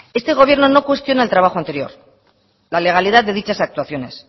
este gobierno no cuestiona el trabajo anterior la legalidad de dichas actuaciones